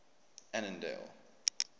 annandale